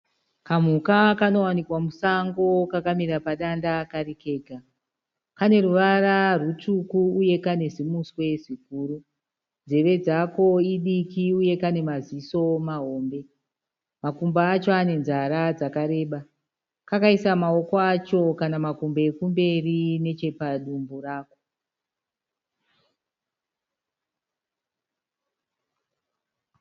Kamhuka kanowanikwa musango kakamira kega. Kane ruvara rutsvuku uye kane zimuswe ziguru. Nzeve dzako idiki uye kane maziso mahombe. Makumbo acho ane nzara dzakareba. Kakaisa maoko acho kana makumbo ekumberi nechepadumbu rako.